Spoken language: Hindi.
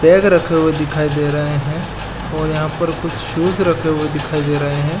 बैग रखे हुए दिखाई दे रहे है और यहाँ पर कुछ शूज रखे हुए दिखाई दे रहे हैं।